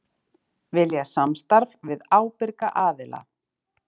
Vilja samstarf við ábyrga aðila